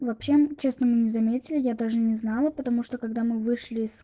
вообще честно мы не заметили я даже не знала потому что когда мы вышли из